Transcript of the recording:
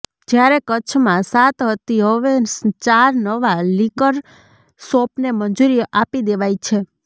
જ્યારે કચ્છમાં સાત હતી હવે ચાર નવા લીકરશોપને મંજૂરી આપી દેવાય છે